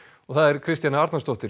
Kristjana Arnarsdóttir